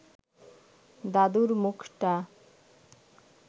দাদুর মুখটা